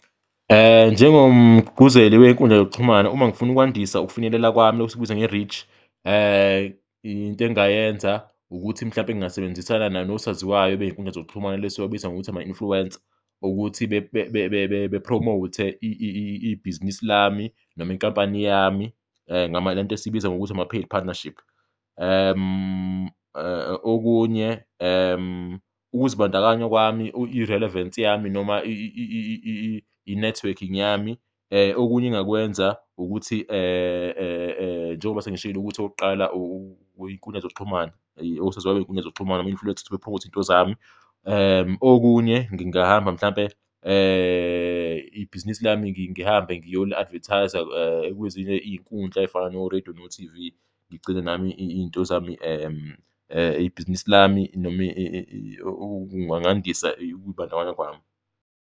Njengomgqugquzeli wey'nkundla zokuxhumana, uma ngifuna ukwandisa ukufinyelela kwami, esikubiza nge-reach, into engingayenza ukuthi mhlawumbe ngingasebenzisana nosaziwayo bey'nkundla zokuxhumana, laba esibabiza ngokuthi ama-influencer ukuthi bephromowuthe ibhizinisi lami noma inkampani yami, le nto esiyibiza ngokuthi ama-paid partnership. Okunye, ukuzibandakanya kwami, i-relevance yami noma i-networking yami, okunye engingakwenza ukuthi njengoba sengishilo ukuthi okokuqala iy'nkundla zokuxhumana, osaziwayo bey'nkundla zokuxhumana, ama-influencer bephromowuthe iy'nto zami. Okunye, ngingahamba mhlawumbe ibhizinisi lami ngihambe ngiyoli-advethayiza kwezinye iy'nkundla ey'fana no-radio no-T_V, ngigcine nami iy'nto zami, ibhizinisi lami noma ngandisa ukuy'bandakanya kwami.